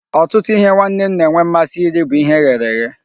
Ọtụtụ ihe nwanne m na-enwe mmasị iri bụ ihe eghere eghe.